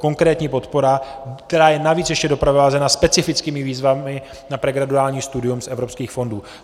Konkrétní podpora, která je navíc ještě doprovázena specifickými výzvami na pregraduální studium z evropských fondů.